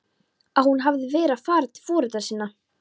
Að hún hefði verið að fara til foreldra sinna?